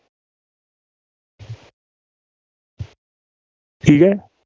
ठीक आहे?